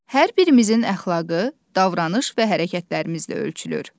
Hər birimizin əxlaqı, davranış və hərəkətlərimizlə ölçülür.